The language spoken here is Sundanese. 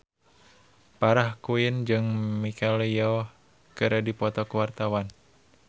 Farah Quinn jeung Michelle Yeoh keur dipoto ku wartawan